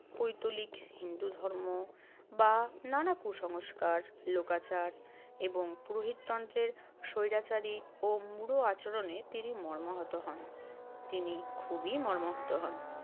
পৈতলিক হিন্দু ধর্ম বা নানা কুসংস্কার, লোকাচার এবংপুরোহিত তন্ত্রে স্বৈরাচারী ও মূঢ় আচরণে তিনি মর্মাহত হন। তিনি খুবই মর্মাহত হন।